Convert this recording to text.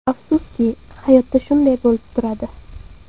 Afsuski, hayotda shunday bo‘lib turadi”.